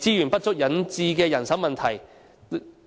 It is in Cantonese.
資源不足引致的人手問題，